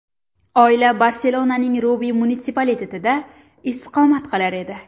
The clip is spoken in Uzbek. Oila Barselonaning Rubi munitsipalitetida istiqomat qilar edi.